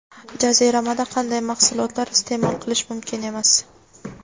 Jaziramada qanday mahsulotlar iste’mol qilish mumkin emas?.